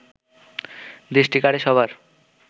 দৃষ্টি কাড়ে সবার